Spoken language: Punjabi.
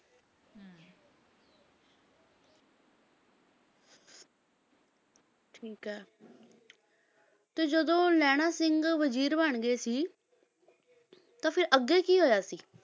ਠੀਕ ਹੈ ਤੇ ਜਦੋਂ ਲਹਿਣਾ ਸਿੰਘ ਵਜ਼ੀਰ ਬਣ ਗਏ ਸੀ ਤਾਂ ਫਿਰ ਅੱਗੇ ਕੀ ਹੋਇਆ ਸੀ?